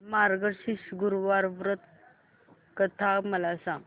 मार्गशीर्ष गुरुवार व्रत कथा मला सांग